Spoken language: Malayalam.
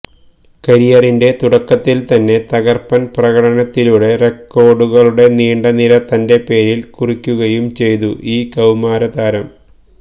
കരിയറിന്റെ തുടക്കത്തിൽ തന്നെ തകർപ്പൻ പ്രകടനത്തിലൂടെ റെക്കോഡുകളുടെ നീണ്ട നിര തന്റെ പേരിൽ കുറിക്കുകയും ചെയ്തു ഈ കൌമാരതാരം